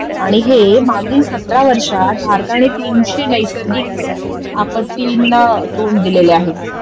आणि हे मागील सतरा वर्षात भारताने तीनशे नैसर्गिक आपत्तींना तोंड दिलेले आहे